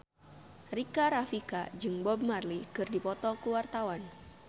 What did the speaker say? Rika Rafika jeung Bob Marley keur dipoto ku wartawan